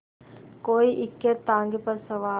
कोई इक्केताँगे पर सवार